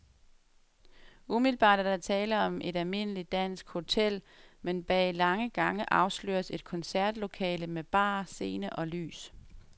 Umiddelbart er der tale om et almindeligt dansk hotel, men bag lange gange afsløres et koncertlokale med bar, scene og lys.